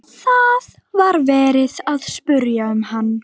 Það var verið að spyrja um hann.